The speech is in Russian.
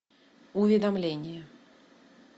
уведомление